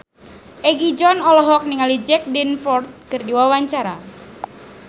Egi John olohok ningali Jack Davenport keur diwawancara